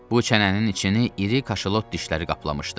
Bu çənənin içini iri kaşalot dişləri kaplamışdı.